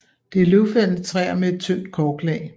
Det er løvfældende træer med et tyndt korklag